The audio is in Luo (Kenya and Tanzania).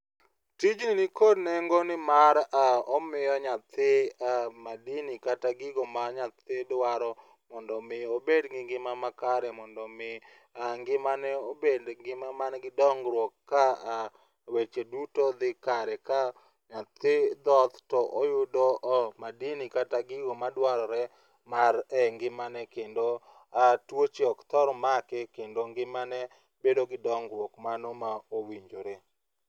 Tijni nikod nengo nimar omiyo nyathi madini kata gigo ma nyathi dwaro mondo omi obed gi ngima makare mondo omi ngimane obed ngima manigi dongruok ka weche duto dhi kare ,ka nyathi dhoth to oyudo madini kata gigo madwarore e ngimane kendo tuoche ok thor make kendo ngimane bedo gi dongruok mano ma owinjore.